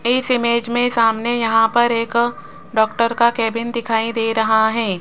इस इमेज में सामने यहां पर एक डॉक्टर का केबिन दिखाई दे रहा है।